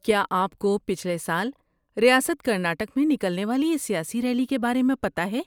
کیا آپ کو پچھلے سال ریاست کرناٹک میں نکلنے والی اس سیاسی ریلی کے بارے میں پتہ ہے؟